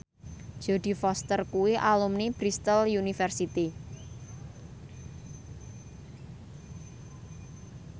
Jodie Foster kuwi alumni Bristol university